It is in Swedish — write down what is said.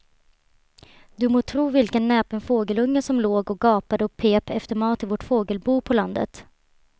Du må tro vilken näpen fågelunge som låg och gapade och pep efter mat i vårt fågelbo på landet.